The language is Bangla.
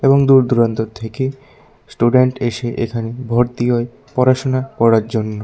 এবং দূর দূরান্তর থেকে স্টুডেন্ট এসে এখানে ভর্তি হয় পড়াশুনা করার জন্য।